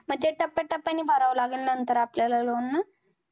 मग ते टप्याटप्याने भरावं लागेल नंतर आपल्याला loan ना?